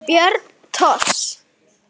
Björn Thors.